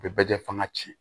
U bɛ bɛjɛ fanga ci